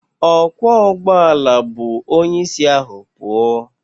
Ọkwọụgbọala bu onyeisi ahụ pụọ